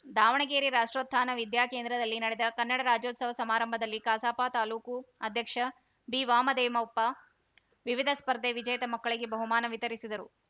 ದಾವಣಗೆರೆ ರಾಷ್ಟೊ್ರೕತ್ಥಾನ ವಿದ್ಯಾಕೇಂದ್ರದಲ್ಲಿ ನಡೆದ ಕನ್ನಡ ರಾಜ್ಯೋತ್ಸವ ಸಮಾರಂಭದಲ್ಲಿ ಕಸಾಪ ತಾಲೂಕು ಅಧ್ಯಕ್ಷ ಬಿವಾಮದೇಮಪ್ಪ ವಿವಿಧ ಸ್ಪರ್ಧೆ ವಿಜೇತ ಮಕ್ಕಳಿಗೆ ಬಹುಮಾನ ವಿತರಿಸಿದರು